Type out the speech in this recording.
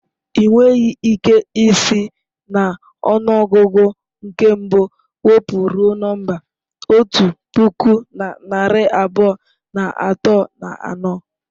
Ị nweghị ike isi n'ọnụọgụ nke mbụ wụpụ ruo nọmba otu puku na narị abụọ na atọ na anọ.